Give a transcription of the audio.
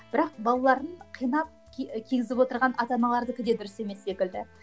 бірақ балаларын қинап кигізіп отырған ата аналардікі де дұрыс емес секілді